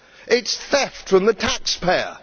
It is theft from the taxpayer.